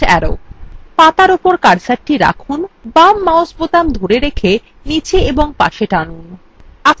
পাতার উপর কার্সারটি রাখুন বাম mouse বোতাম ধরে রেখে নীচে ও পাশে টানুন